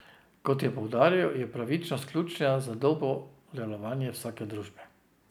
Kot je poudaril, je pravičnost ključna za dobro delovanje vsake družbe.